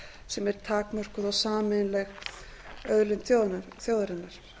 sem er takmörkuð og sameiginleg auðlind þjóðarinnar